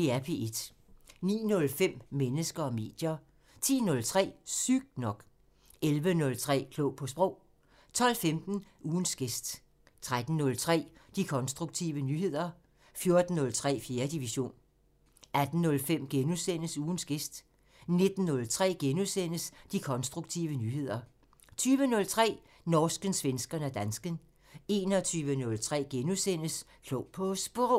09:05: Mennesker og medier 10:03: Sygt nok 11:03: Klog på Sprog 12:15: Ugens gæst 13:03: De konstruktive nyheder 14:03: 4. division 18:05: Ugens gæst * 19:03: De konstruktive nyheder * 20:03: Norsken, svensken og dansken 21:03: Klog på Sprog *